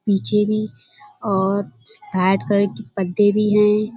पीछे भी और कलर के पर्दे भी हैं।